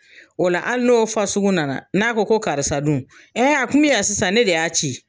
O la hali n'o fasugu nana n'a ko ko karisa dun, a tun bi yan sisan, ne de y'a ci.